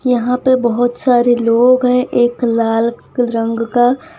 यहां पे बहोत सारे लोग है एक लाल रंग का --